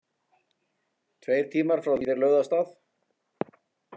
Tveir tímar frá því þeir lögðu af stað.